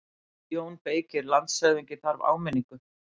JÓN BEYKIR: Landshöfðingi þarf áminningu.